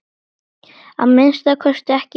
Að minnsta kosti ekki hún.